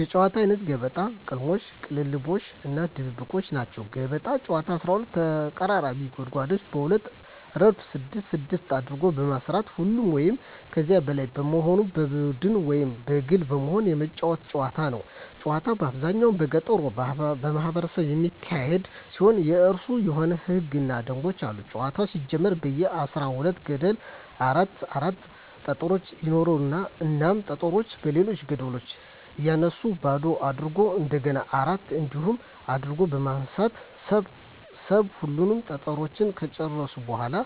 የጨዋታወች አይነት ገበጣ፣ ቅልሞሽ(ቅልልቦሽ) እና ድብብቆሽ ናቸዉ። ገበጣ ጨዋታ 12 ተቀራራቢ ጉድጓዶችን በሁለት እረድፍ ስድስት ስድስት አድርጎ በመስራት ሁለት ወይም ከዚያ በላይ በመሆን በቡድን ወይም በግል በመሆን የመጫወቱት ጨዋታ ነዉ። ጨዋታዉ በአብዛኛዉ በገጠሩ ማህበረሰብ የሚካሄድ ሲሆን የእራሱ የሆኑ ህገ ደንቦችም አሉት ጨዋታዉ ሲጀመር በየ አስራ ሁለት ገደሉ አራት አራት ጠጠሮች ይኖራሉ እናም ጠጠሮችን በሌሎች ገደሎች እያነሱ ባዶ አድርጎ እንደገና አራት እንዲሆን አድርጎ በመሰብ ሰብ ሁሉንም ጠጠሮች ከጨረሱ በኋላ